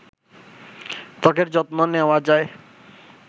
ত্বকের যত্ন নেওয়া যায়